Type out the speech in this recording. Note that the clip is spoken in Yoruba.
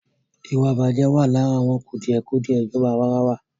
Ìwàìbàjẹ́ wà lára àwọn kùdìẹ̀kùdìẹ ìjọba àwàrawa.